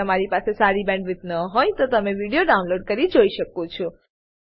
જો તમારી પાસે સારી બેન્ડવિડ્થ ન હોય તો તમે વિડીયો ડાઉનલોડ કરીને જોઈ શકો છો